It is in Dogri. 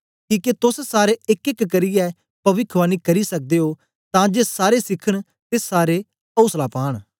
किके तोस सारे एकएक करियै पविखवाणी करी सकदे ओ तां जे सारे सीखन ते सारे औसला पांन